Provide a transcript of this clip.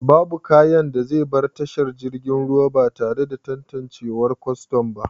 Babu kayan da zai bar tashar jiragen ruwa batare da tantanciwar Kwaston ba